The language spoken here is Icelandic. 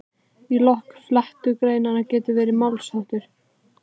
Í lok flettugreinar getur svo verið málsháttur